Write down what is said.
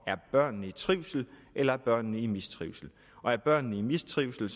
børnene er i trivsel eller om børnene er i mistrivsel er børnene i mistrivsel